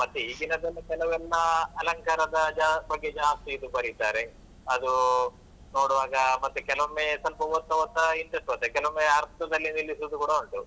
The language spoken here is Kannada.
ಮತ್ತೆ ಈಗಿನದೆಲ್ಲಾ ಕೆಲವೆಲ್ಲಾ ಅಲಂಕಾರದ ಬಗ್ಗೆ ಜಾಸ್ತಿ ಇದು ಬರಿತಾರೆ, ಅದು ನೋಡುವಾಗ ಮತ್ತೆ ಕೆಲವೊಮ್ಮೆ ಸ್ವಲ್ಪ ಓದ್ತಾ ಓದ್ತಾ interest ಬರುತ್ತೆ, ಕೆಲವೊಮ್ಮೆ ಅರ್ಧದಲ್ಲಿ ನಿಲ್ಲಿಸುದು ಕೂಡ ಉಂಟು.